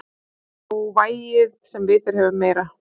Sá vægir sem vitið hefur meira.